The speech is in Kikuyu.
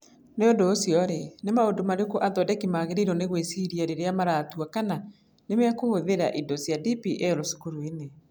Nĩ ũndũ ũcio-rĩ, nĩ maũndũ marĩkũ athondeki magĩrĩirũo nĩ gwĩciria rĩrĩa maratua kana nĩ mekũhũthĩra indo cia DPL cukuru-inĩ?